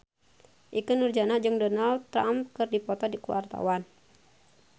Ikke Nurjanah jeung Donald Trump keur dipoto ku wartawan